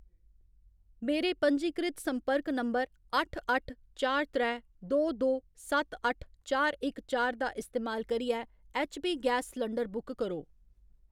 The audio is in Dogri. मेरे पंजीकृत संपर्क नंबर अट्ठ अट्ठ चार त्रै दो दो सत्त अट्ठ चार इक चार दा इस्तेमाल करियै ऐच्चपी गैस सलंडर बुक करो।